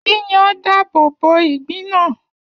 Yíyan dáàbòbo ìgbín náà.